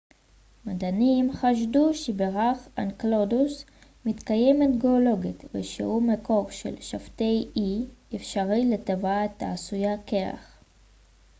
מדענים חשדו שבירח אנקלדוס מתקיימת גאולוגית ושהוא מקור אפשרי לטבעת e של שבתאי העשויה קרח